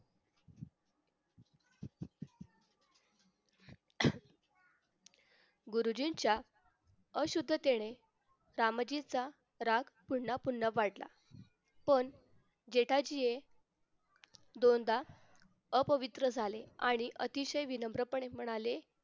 गुरुजींच्या अशुध्दतीने रामजीचं राग पुन्हा पून्हा वाढला पण जेठाजी हे दोनदा अपवित्र झाले आणि अतिशय विनम्रपणे म्हणाले कि